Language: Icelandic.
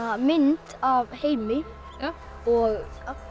mynd af Heimi og